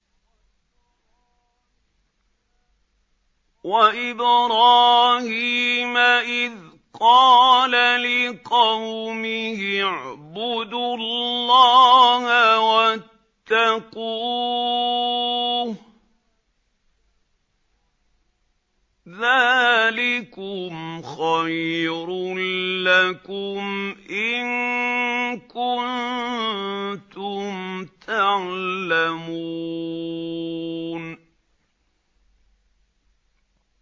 وَإِبْرَاهِيمَ إِذْ قَالَ لِقَوْمِهِ اعْبُدُوا اللَّهَ وَاتَّقُوهُ ۖ ذَٰلِكُمْ خَيْرٌ لَّكُمْ إِن كُنتُمْ تَعْلَمُونَ